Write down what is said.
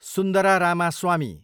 Sundara Ramaswamy